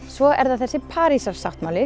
svo er það þessi